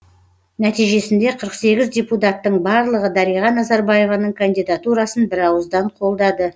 нәтижесінде қырық сегіз депутаттың барлығы дариға назарбаеваның кандидатурасын бірауыздан қолдады